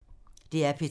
DR P3